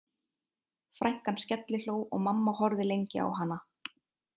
Frænkan skellihló og mamma horfði lengi á hana